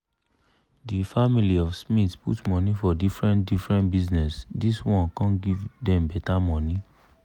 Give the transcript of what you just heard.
di family of smith put money for different different bizness dis one come give dem better money